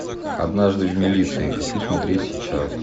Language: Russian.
однажды в милиции хочу смотреть сейчас